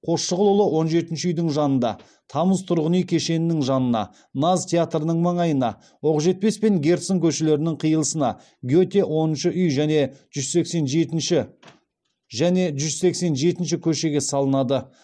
қосшығұлұлы он жетінші үйдің жанында тамыз тұрғын үй кешенінің жанына наз театрының маңайына оқжетпес пен герцен көшелерінің қиылысына гете оныншы үй және жүз сексен жетінші және жүз сексен жетінші көшеге салынады